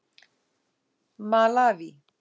Malaví